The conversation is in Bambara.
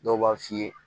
Dɔw b'a f'i ye